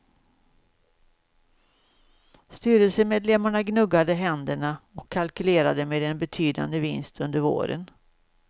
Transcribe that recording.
Styrelsemedlemmarna gnuggade händerna, och kalkylerade med en betydande vinst under våren.